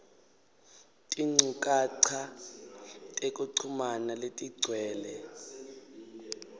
tinchukaca tekuchumana letigcwele